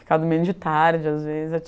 Ficava dormindo de tarde, às vezes.